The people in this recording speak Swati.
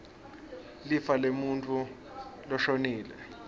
lifa lemuntfu loshonile